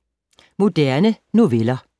Moderne noveller